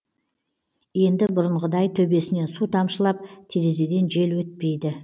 енді бұрынғыдай төбесінен су тамшылап терезеден жел өтпейді